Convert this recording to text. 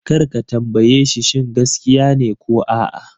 Kar ka tambaye shi shin gaskiya ne ko a'a!